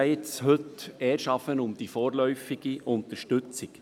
Es geht heute erst einmal um die vorläufige Unterstützung.